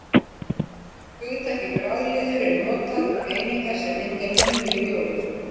Hugtakið bragliður er notað um einingar sem mynda línu í ljóði.